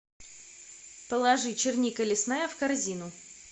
положи черника лесная в корзину